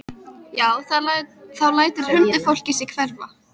Já, þá lætur huldufólkið sig hverfa.